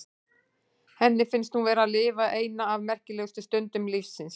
Henni finnst hún vera að lifa eina af merkilegustu stundum lífs síns.